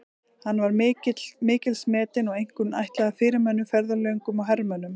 Hann var mikils metinn og einkum ætlaður fyrirmönnum, ferðalöngum og hermönnum.